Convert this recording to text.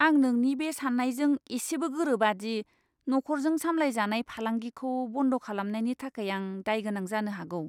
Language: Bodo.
आं नोंनि बे साननायजों इसेबो गोरोबा दि नखरजों सामलायजानाय फालांगिखौ बन्द खालामनायनि थाखाय आं दायगोनां जानो हागौ।